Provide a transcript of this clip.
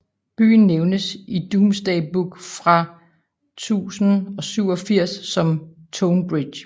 Byen nævnes i Domesday Book fra 1087 som Tonebridge